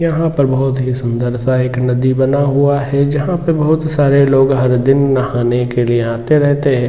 यहां पर बहुत ही सुंदर सा एक नदी बना हुआ है जहां पर बहुत सारे लोग हर दिन नहाने के लिए आते रहते हैं।